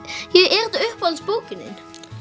er þetta uppáhaldsbókin þín